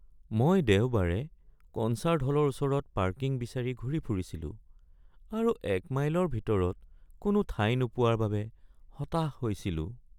মই দেওবাৰে কনচাৰ্ট হলৰ ওচৰত পাৰ্কিং বিচাৰি ঘূৰি ফুৰিছিলো আৰু এক মাইলৰ ভিতৰত কোনো ঠাই নোপোৱাৰ বাবে হতাশ হৈছিলো।